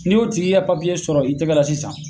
Ni y'o tigi ka sɔrɔ i tɛgɛ la sisan